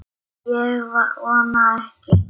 Ég vona ekki